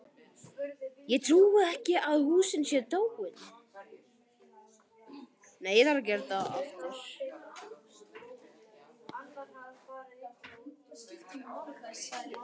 Ég trúi ekki að hún sé dáin.